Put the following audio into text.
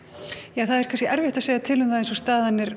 ja það er erfitt að segja eins og staðan er